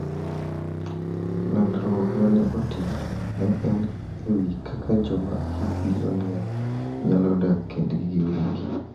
Lalruok ma ne otim ne en e wi kaka joma hikgi oniang` nyalo dak kendgi giwegi.